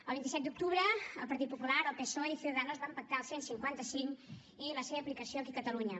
el vint set d’octubre el partit popular el psoe i ciudadanos van pactar el cent i cinquanta cinc i la seva aplicació aquí a catalunya